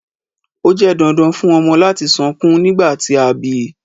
Ó jẹ dandan fùn ọmọ lati sọkun nigbati a bi